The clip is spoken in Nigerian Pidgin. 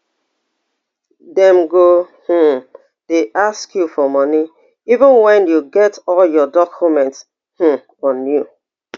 dem go um dey ask you for money even wen you get all your documents um on you